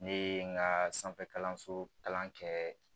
Ne ye n ka sanfɛ kalanso kalan kɛ